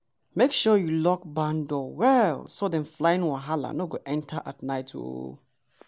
make sure you lock barn door well so them flying wahala no go enter at night o!